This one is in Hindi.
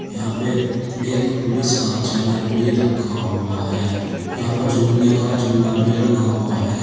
यहां पे एक पुलिस का चैनल भी रखा हुआ है यहां पर झूलने का झूला भी लगा हुआ है।